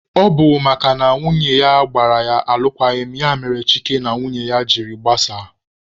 Ọ bụ makana nwunye ya gbara ya alụkwaghịm ya mere Chike na nwunye ya jiri gbasaa.